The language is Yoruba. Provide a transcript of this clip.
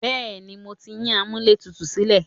Bẹ́ẹ̀ni, mo ti yín amúlẹ̀tutù sílẹ̀.